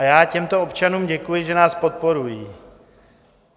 A já těmto občanům děkuji, že nás podporují.